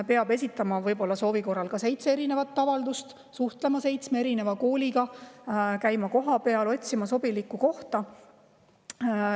Peab esitama soovi korral seitse avaldust, suhtlema seitsme kooliga, käima kohapeal, otsima sobilikku kohta.